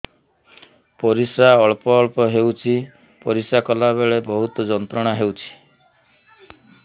ପରିଶ୍ରା ଅଳ୍ପ ଅଳ୍ପ ହେଉଛି ପରିଶ୍ରା କଲା ବେଳେ ବହୁତ ଯନ୍ତ୍ରଣା ହେଉଛି